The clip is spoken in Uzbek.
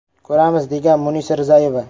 Ko‘ramiz”, degan Munisa Rizayeva.